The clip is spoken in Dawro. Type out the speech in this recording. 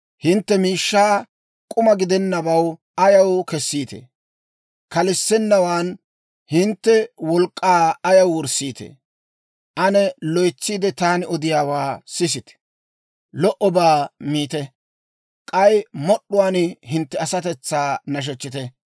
Hintte miishshaa k'uma gidennabaw ayaw kessiitee? Kalissennawaan hintte wolk'k'aa ayaw wurssiitee? Ane loytsiide, taani odiyaawaa sisite; lo"obaa miite; k'ay mod'd'uwaan hintte asatetsaa nashechchite.